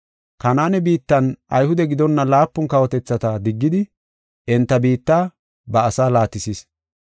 Kanaane biittan Ayhude gidonna laapun kawotethata diggidi enta biitta ba asaa laatisis.